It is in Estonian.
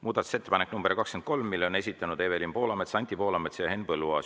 Muudatusettepaneku nr 23 on esitanud Evelin Poolamets, Anti Poolamets ja Henn Põlluaas.